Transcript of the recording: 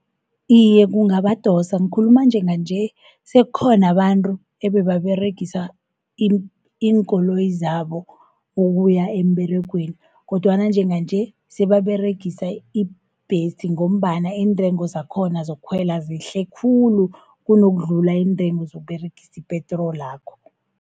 Iye kungabadosa nkhuluma njenga nje, sekhona abantru ebebaregisa iinkoloyi zabo ukuya emberegweni, kodwana njenga nje sebaberegisa ibhesi ngombana intrengo zakhona zokukhwela zehle khulu, kunukudlula intrengo zokUberegisi ipetrolakho.